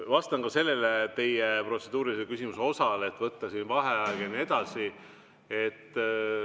Vastan ka sellele teie protseduurilise küsimuse osale, et võtta vaheaeg ja nii edasi.